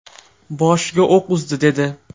Boshiga o‘q uzdi”, dedi.